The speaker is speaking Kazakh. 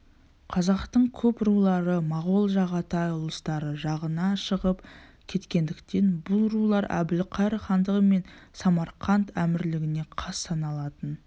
қазақтың көп рулары моғол жағатай ұлыстары жағына шығып кеткендіктен бұл рулар әбілқайыр хандығы мен самарқант әмірлігіне қас саналатын